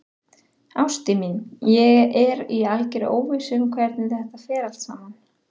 Ástin mín, ég er í algerri óvissu um hvernig þetta fer allt saman.